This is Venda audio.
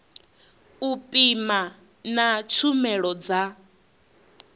u pima na tshumelo dza